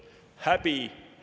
Häbi!